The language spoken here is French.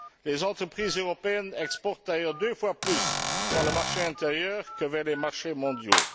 Les entreprises européennes exportent d'ailleurs deux fois plus dans le marché intérieur que vers les marchés mondiaux.